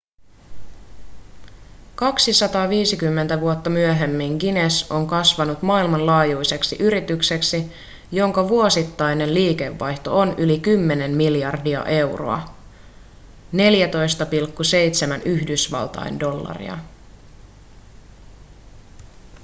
250 vuotta myöhemmin guinness on kasvanut maailmanlaajuiseksi yritykseksi jonka vuosittainen liikevaihto on yli 10 miljardia euroa 14,7 yhdysvaltain dollaria